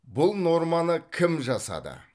бұл норманы кім жасады